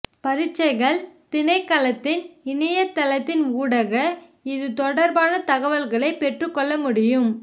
பரீட்சைகள் திணைக்களத்தின் இணையதளத்தின் ஊடாக இது தொடர்பான தகவல்களை பெற்றுக் கொள்ள முடியும்